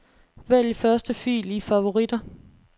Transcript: Vælg første fil i favoritter.